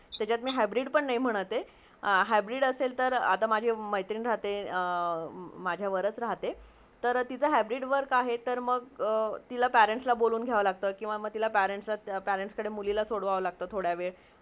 चल मी hybrid पण नाही म्हणत हे hybrid असेल आता माझी मेत्री राहते माझ्या वरच राहते तर टीजहा hybrid work अ तिला पेरेंट्सला बोलूण घियावे लगता , parents सोरावे लगता मुलीला थोडा वेळ